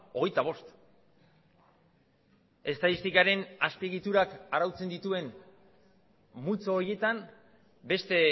hogeita bost estatistikaren azpiegiturak arautzen dituen multzo horietan beste